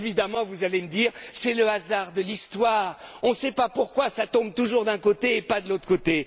radio. Évidemment, vous allez me dire C'est le hasard de l'histoire, on ne sait pas pourquoi ça tombe toujours d'un côté et pas de l'autre